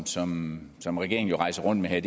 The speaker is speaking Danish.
som som regeringen jo rejser rundt med her